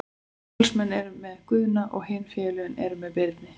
Valsmenn eru með Guðna og hin félögin eru með Birni.